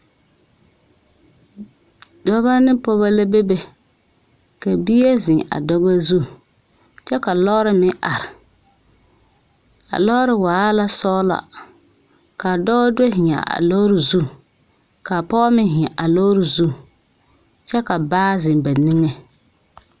Dɔbɔ ne pɔɔbɔ la bebe ka. bie zeŋ a dɔbɔ zu kyɛ ka lɔɔre meŋ are a lɔɔre waa la sɔglɔ kaa dɔɔ do zeŋaa a lɔɔre zu kaa pɔge meŋ zeŋ a lɔɔre zu kyɛ ka baa zeŋ ba niŋeŋ.